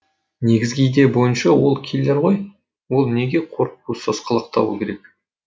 негізгі идея бойынша ол киллер ғой ол неге қорқуы сасқалақтауы керек